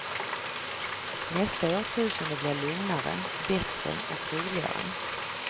Nästa årtusende blir lugnare, bättre och roligare.